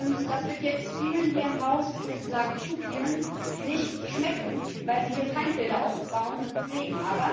Und das wird jetzt vielen hier im Hause ich möchte sagen, zu vielen nicht schmecken, weil sie hier Feindbilder aufbauen und pflegen.